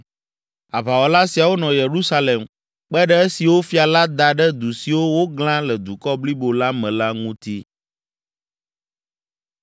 Aʋawɔla siawo nɔ Yerusalem kpe ɖe esiwo fia la da ɖe du siwo woglã le dukɔ blibo la me la ŋuti.